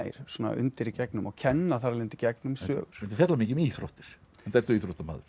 svona undir í gegnum og kenna þar af leiðandi í gegnum sögur þetta fjallar mikið um íþróttir enda ertu íþróttamaður